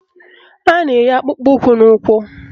A na-eyi akpụkpọụkwụ n'ụkwụ